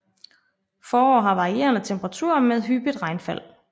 Forår har varierende temperaturer med hyppigt regnfald